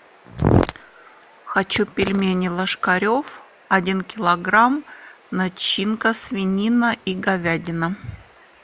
хочу пельмени ложкарев один килограмм начинка свинина и говядина